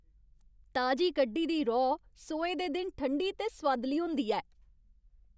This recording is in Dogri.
ताजी कड्ढी दी रौह् सोहे दे दिन ठंडी ते सोआदली होंदी ऐ।